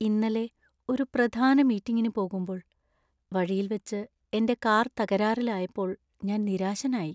ഇന്നലെ ഒരു പ്രധാന മീറ്റിംഗിന് പോകുമ്പോൾ വഴിയിൽ വച്ച് എന്‍റെ കാർ തകരാറിലായപ്പോൾ ഞാൻ നിരാശനായി.